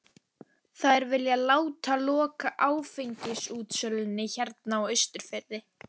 Þær vilja láta loka áfengisútsölunni hérna á Austurfirði!